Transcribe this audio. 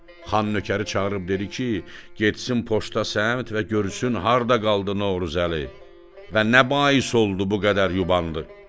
Xan nökəri çağırıb dedi ki, getsin poçta səmt və görsün harda qaldı Novruzəli və nə bais oldu bu qədər yubandı.